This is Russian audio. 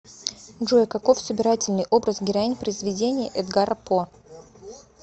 джой каков собирательный образ героинь произведений эдгара по